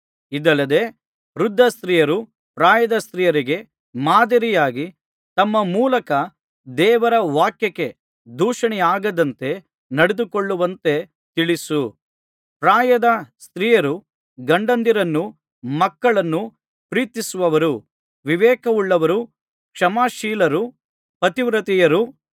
ಇದಲ್ಲದೆ ವೃದ್ಧ ಸ್ತ್ರೀಯರು ಪ್ರಾಯದ ಸ್ತ್ರೀಯರಿಗೆ ಮಾದರಿಯಾಗಿ ತಮ್ಮ ಮೂಲಕ ದೇವರ ವಾಕ್ಯಕ್ಕೆ ದೂಷಣೆಯಾಗದಂತೆ ನಡೆದುಕೊಳ್ಳುವಂತೆ ತಿಳಿಸು ಪ್ರಾಯದಸ್ತ್ರಿಯರು ಗಂಡಂದಿರನ್ನೂ ಮಕ್ಕಳನ್ನೂ ಪ್ರೀತಿಸುವವರೂ ವಿವೇಕವುಳ್ಳವರೂ ಕ್ಷಮಾಶಿಲರೂ ಪತಿವ್ರತೆಯರೂ